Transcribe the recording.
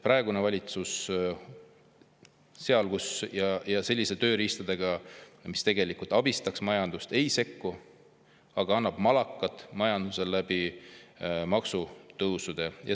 Praegune valitsus seal, kus, ja selliste tööriistadega, mis majandust aitaks, ei sekku, vaid annab majandusele maksutõusude kaudu malakat.